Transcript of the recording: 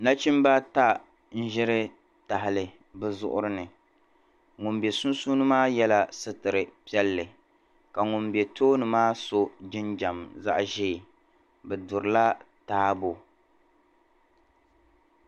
Nachimba ata n-ʒiri tahali bɛ zuɣuri ni ŋun be sunsuuni maa yela sitir'piɛlli ka ŋun be tooni maa so jinjam zaɣ'ʒee bɛ durila taabo.